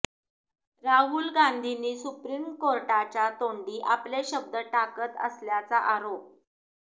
राहुल गांधींनी सुप्रीम कोर्टाच्या तोंडी आपले शब्द टाकत असल्याचा आरोप